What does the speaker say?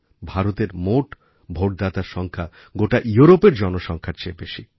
ভারতের মোট ভোটদাতার সংখ্যা গোটা ইউরোপের জনসংখ্যার চেয়ে বেশি